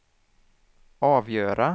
avgöra